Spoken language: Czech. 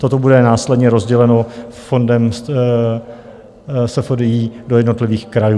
Toto bude následně rozděleno fondem SFDI do jednotlivých krajů.